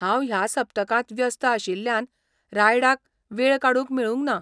हांव ह्या सप्तकांत व्यस्त आशिल्ल्यान रायडाक वेळ काडूंक मेळूंक ना.